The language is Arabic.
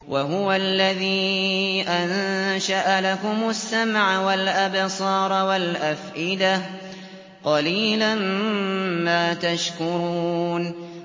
وَهُوَ الَّذِي أَنشَأَ لَكُمُ السَّمْعَ وَالْأَبْصَارَ وَالْأَفْئِدَةَ ۚ قَلِيلًا مَّا تَشْكُرُونَ